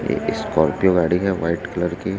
एक स्कॉर्पियो गाड़ी हैं व्हाइट कलर की।